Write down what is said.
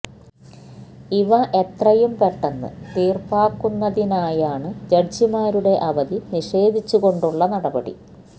ഇവ എത്രയും പെട്ടെന്ന് തീർപ്പാക്കുന്നതിനായാണ് ജഡ്ജിമാരുടെ അവധി നഷേധിച്ചുകൊണ്ടുള്ള നടപടി